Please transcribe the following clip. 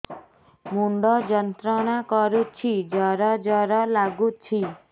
ମୁଣ୍ଡ ଯନ୍ତ୍ରଣା କରୁଛି ଜର ଜର ଲାଗୁଛି